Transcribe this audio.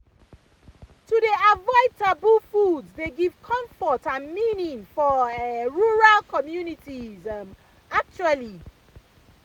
to dey avoid taboo foods dey give comfort and meaning for um rural communities um actually